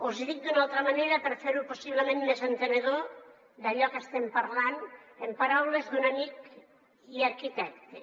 els hi dic d’una altra manera per fer possiblement més entenedor d’allò que estem parlant en paraules d’un amic i arquitecte